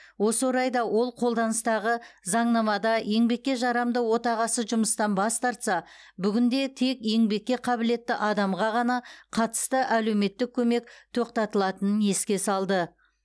осы орайда ол қолданыстағы заңнамада еңбекке жарамды отағасы жұмыстан бас тарса бүгінде тек еңбекке қабілетті адамға ғана қатысты әлеуметтік көмек тоқтатылатынын еске салды